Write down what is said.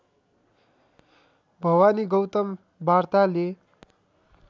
भवानी गौतम वार्ताले